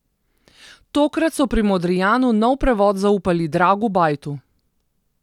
Tokrat so pri Modrijanu nov prevod zaupali Dragu Bajtu.